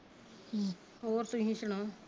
ਹਮ ਹੋਰ ਤੁਹੀ ਸੁਣਾਓ